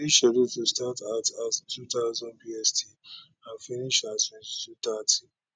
e dey scheduled to start at at 2000 bst and finish at 2230